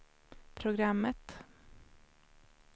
programmet